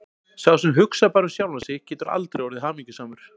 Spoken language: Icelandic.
Sá sem hugsar bara um sjálfan sig getur aldrei orðið hamingjusamur.